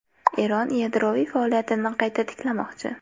Eron yadroviy faoliyatini qayta tiklamoqchi.